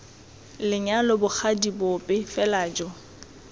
lenyalo bogadi bope fela jo